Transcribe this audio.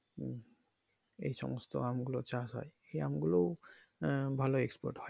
এই সমস্ত আম গুলো চাষ হয় সে আমগুলোও আহ ভালো export হয়।